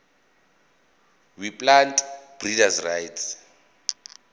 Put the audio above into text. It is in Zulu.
weplant breeders rights